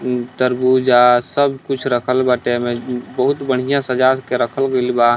मम तरबुजा सब कुछ रखल बाटे ऐमें म बहुत बढ़िया सजा के रखल गईल बा।